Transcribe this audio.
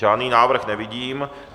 Žádný návrh nevidím.